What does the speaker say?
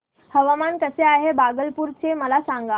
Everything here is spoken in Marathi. हवामान कसे आहे भागलपुर चे मला सांगा